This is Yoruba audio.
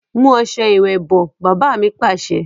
Mu ọ̀sẹ̀ ìwẹ̀ bọ̀! Baba mi Pàṣẹ.